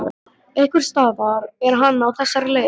Einhversstaðar er hann á þessari leið.